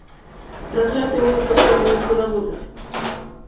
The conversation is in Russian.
проклятый волк отказывается работать